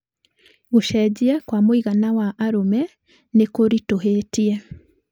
"Gũcenjia kwa mũigana wa arũme nĩ kũritũhĩtie.